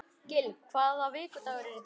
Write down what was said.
Gill, hvaða vikudagur er í dag?